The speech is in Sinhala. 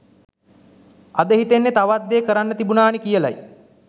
අද හිතෙන්නෙ තවත් දේ කරන්න තිබුණානෙ කියලයි